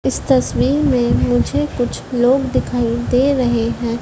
इस तस्वीर मे मुझे कुछ लोग दिखाई दे रहे हैं।